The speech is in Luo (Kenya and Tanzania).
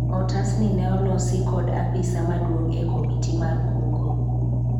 otas ni ne olosi kod apisa maduong' e komiti mar kungo